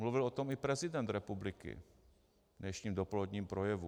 Mluvil o tom i prezident republiky v dnešním dopoledním projevu.